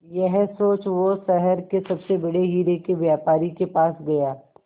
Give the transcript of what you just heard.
यह सोच वो शहर के सबसे बड़े हीरे के व्यापारी के पास गया